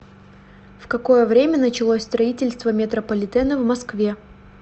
в какое время началось строительство метрополитена в москве